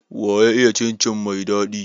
Waya iya cin cin mai daɗi?